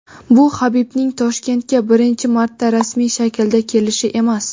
bu Habibning Toshkentga birinchi marta rasmiy shaklda kelishi emas.